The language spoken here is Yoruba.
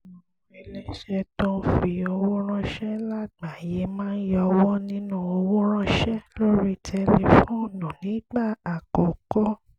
àwọn iléeṣẹ́ tó ń fi owó ránṣẹ́ lágbàáyé máa yọwọ́ nínú owó ránṣẹ́ lórí tẹlifóònù nígbà àkọ́kọ́